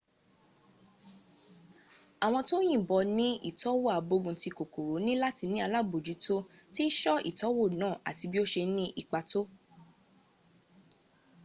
àwọn tó yìnbọ ní ìtọ́wò àgbóguntí kòkòrò ní láti ní alábòjútó bí ṣọ́ ìtọ́wò náà àti bí ó ṣe ní ipa tọ́